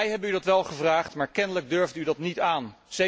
Wij hebben u dat wel gevraagd, maar kennelijk durfde u dat niet aan.